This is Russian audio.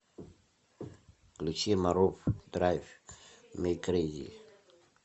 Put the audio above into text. включи марув драйв ми крейзи